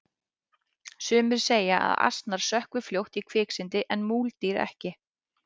sumir segja að asnar sökkvi fljótt í kviksyndi en múldýr ekki